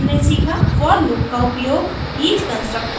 इस ट्यूटोरियल में हमने सीखा for लूप का उपयोग